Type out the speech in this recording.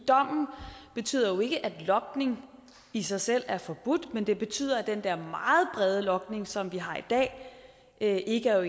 dommen betyder jo ikke at logning i sig selv er forbudt men det betyder at den der meget brede logning som vi har i dag ikke er